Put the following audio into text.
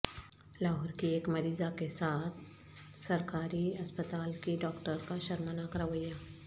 لاہور کی ایک مریضہ کے ساتھ سرکاری ہسپتال کی ڈاکٹر کا شرمناک رویہ